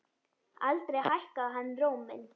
Aldrei hækkaði hann róminn.